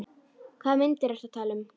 Hvaða myndir ertu að tala um?